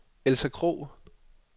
Elsa Krogh